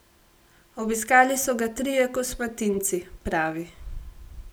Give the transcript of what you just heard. Obiskali so ga trije kosmatinci, pravi.